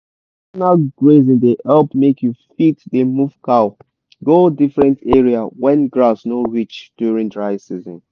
rotational grazing dey help make you fit dey move cow go different area when grass no reach during dry season.